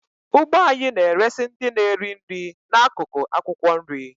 Ugbo anyị na-eresị ndị na-eri nri n'akụkụ akwụkwọ nri.